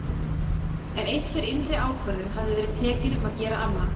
En einhver innri ákvörðun hafði verið tekin um að gera annað.